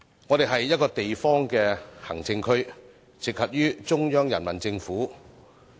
香港是一個地方行政區，直轄於中央人民政府。